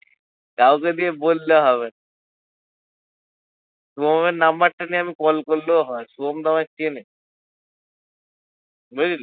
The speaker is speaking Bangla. কাউকে দিয়ে বললে হবে শুভমের number টা নিয়ে আমি call করলেও হয় শুভম তো আমায় চেনে বুঝলি?